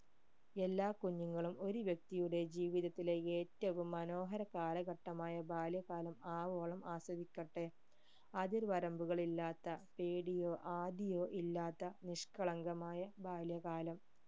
എല്ലാ കുഞ്ഞുങ്ങളും ഒരു വ്യക്തിയുടെ ജീവിതത്തിലെ ഏറ്റവും മനോഹര കാലഘട്ടമായ ബാല്യകാലം ആവോളം ആസ്വദിക്കട്ടെ അതിർവരമ്പുകൾ ഇല്ലാത്ത പേടിയോ ആദിയോ ഇല്ലാത്ത നിഷ്കളങ്കമായ ബാല്യകാലം